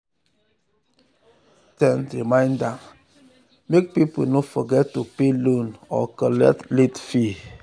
loan app dey always send reminder make people no forget to pay loan or collect late fee.